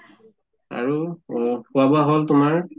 আৰু অহ খোৱা বোৱা হʼল তোমাৰ?